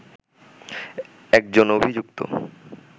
একজন অভিযুক্ত